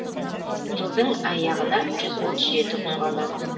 жылдың аяғына жүз отыз жеті күн қалады